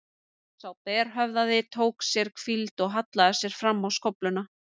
Sá berhöfðaði tók sér hvíld og hallaði sér fram á skófluna.